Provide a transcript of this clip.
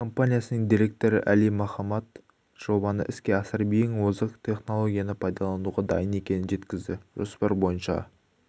компаниясының директоры әли мохамад жобаны іске асырып ең озық технологияны пайдалануға дайын екенін жеткізді жоспар бойынша